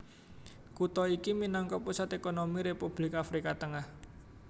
Kutha iki minangka pusat ékonomi Republik Afrika Tengah